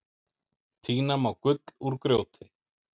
Tína má gull úr grjóti.